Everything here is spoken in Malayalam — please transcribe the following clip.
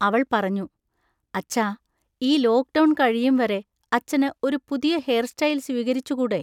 അവൾ പറഞ്ഞു: അച്ഛാ, ഈ ലോക്ക്ഡൗൺ കഴിയുംവരെ അച്ഛന് ഒരു പുതിയ ഹെയർസ്റ്റൈൽ സ്വീകരിച്ചുകൂടെ?